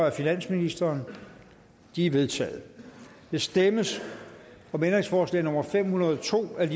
af finansministeren de er vedtaget der stemmes om ændringsforslag nummer fem hundrede og to af